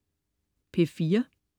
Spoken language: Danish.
P4: